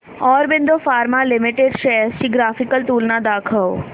Aurobindo pharma limited shares ची graphical तुलना दाखव